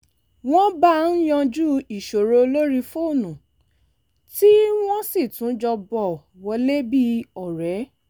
wọ́n bá a yanjú ìṣòro lórí fónù tí wọ́n sì tún jọ bọ̀ wọlé bí ọ̀rẹ́